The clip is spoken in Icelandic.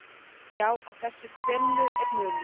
Já, á þessu tvennu er munur.